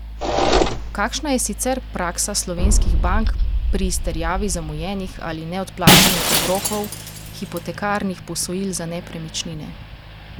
Kakšna je sicer praksa slovenskih bank pri izterjavi zamujenih ali neodplačanih obrokov hipotekarnih posojil za nepremičnine?